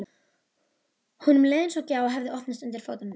Honum leið eins og gjá hefði opnast undir fótum hans.